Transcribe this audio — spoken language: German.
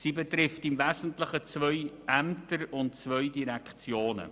Die Aufgabenteilung betrifft im Wesentlichen zwei Ämter und zwei Direktionen.